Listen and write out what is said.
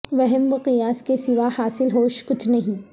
وہم و قیاس کے سوا حاصل ہوش کچھ نہیں